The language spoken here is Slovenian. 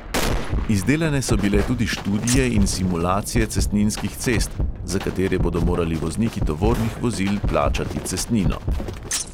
Izdelane so bile tudi študije in simulacije cestninskih cest, za katere bodo morali vozniki tovornih vozil plačati cestnino.